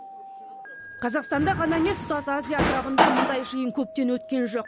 қазақстанда ғана емес тұтас азия атырабында мұндай жиын көптен өткен жоқ